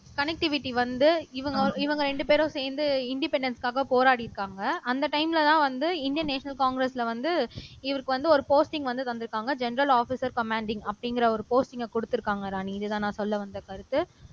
connectivity வந்து இவங்க ரெண்டு பேரும் சேர்ந்து இன்டிபெண்டன்ஸ்க்காக போராடியிருக்காங்க அந்த டைம்லதான் வந்து இந்தின் நேஷனல் காங்கிரஸ்ல வந்து இவருக்கு வந்து ஒரு போஸ்டிங் வந்து தந்திருக்காங்க ஜெனரல் ஆஃபீஸர் கமாண்டிங் அப்படிங்கற ஒரு போஸ்டிங்க குடுத்திருக்காங்க ராணி இதுதான் நான் சொல்ல வந்த கருத்து